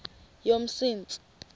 yomsintsi